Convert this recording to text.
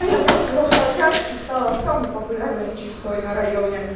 а я просто зашла в чат и стала самой популярной чиксой на районе